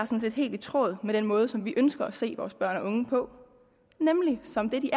set helt i tråd med den måde som vi ønsker at se vores børn og unge på nemlig som det de